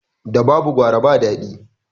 Da babu gwara ba daɗi